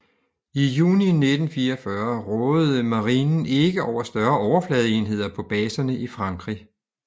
I juni 1944 rådede marinen ikke over større overfladeenheder på baserne i Frankrig